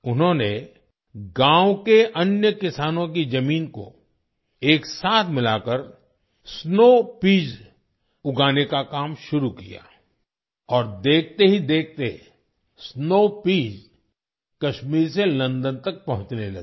उन्होंने गावं के अन्य किसानों की जमीन को एक साथ मिलाकर स्नो पीईएस उगाने का काम शुरू किया और देखते ही देखते स्नो पीईएस कश्मीर से लंदन तक पहुँचने लगी